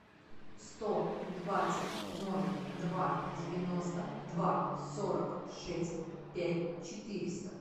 сто двадцать ноль два девяносто два сорок шесть пять четыреста